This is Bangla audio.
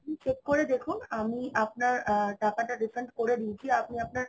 আপনি check করে দেখুন আমি আপনার আ~ টাকাটা refund করে দিয়েছি। আপনি আপনার